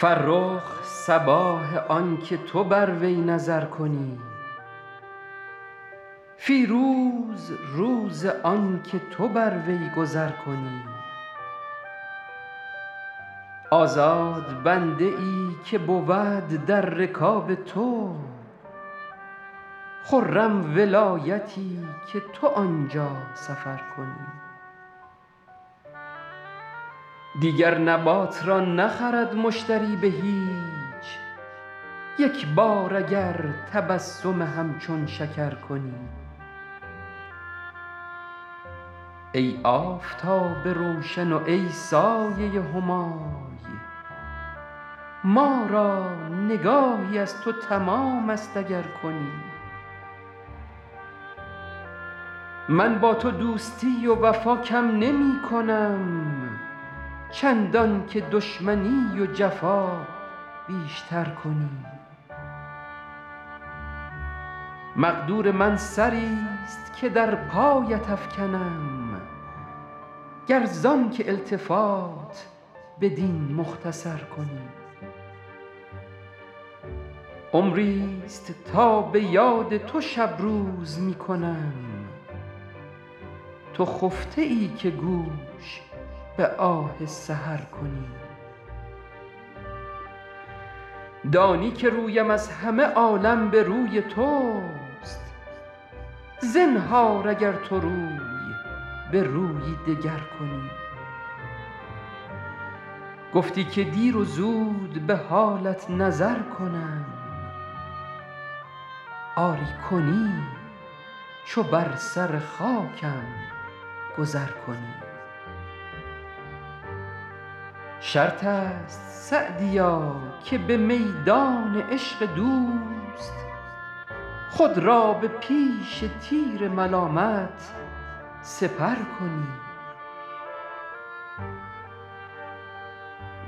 فرخ صباح آن که تو بر وی نظر کنی فیروز روز آن که تو بر وی گذر کنی آزاد بنده ای که بود در رکاب تو خرم ولایتی که تو آن جا سفر کنی دیگر نبات را نخرد مشتری به هیچ یک بار اگر تبسم همچون شکر کنی ای آفتاب روشن و ای سایه همای ما را نگاهی از تو تمام است اگر کنی من با تو دوستی و وفا کم نمی کنم چندان که دشمنی و جفا بیش تر کنی مقدور من سری ست که در پایت افکنم گر زآن که التفات بدین مختصر کنی عمری ست تا به یاد تو شب روز می کنم تو خفته ای که گوش به آه سحر کنی دانی که رویم از همه عالم به روی توست زنهار اگر تو روی به رویی دگر کنی گفتی که دیر و زود به حالت نظر کنم آری کنی چو بر سر خاکم گذر کنی شرط است سعدیا که به میدان عشق دوست خود را به پیش تیر ملامت سپر کنی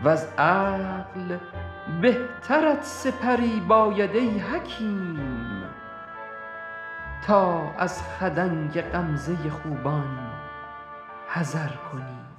وز عقل بهترت سپری باید ای حکیم تا از خدنگ غمزه خوبان حذر کنی